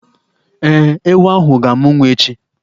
Ee, ewu ahụ ga-amụ nwa echi.